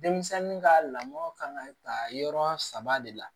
Denmisɛnnin ka lamɔ kan ka ta yɔrɔ saba de la